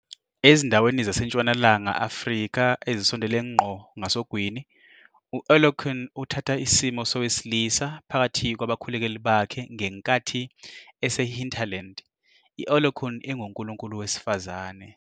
Ezindaweni zaseNtshonalanga Afrika ezisondele ngqo ngasogwini, u-Olokun uthatha isimo sowesilisa phakathi kwabakhulekeli bakhe ngenkathi esehinterland, i-Olokun ingunkulunkulu wesifazane.